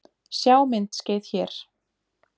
Sjá myndskeið hér